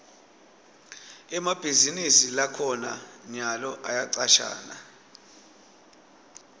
emabhizinisi lakhona nyalo ayacashana